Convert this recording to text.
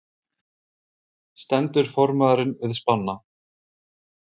Stendur formaðurinn við spána?